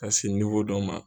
Ka se dɔ ma.